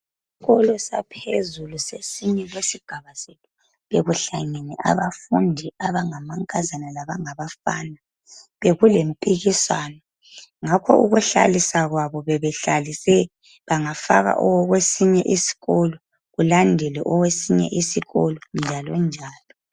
Isikolo saphezulu sasinye sesigaba sethu bekuhlangene abafundi abangamankazana labafana bekulempikiswano ngakho ukuhlaliswa kwabo bebehlalise bengafaka owesinye iskolo kulandele owesinye isikolo njalo njalo.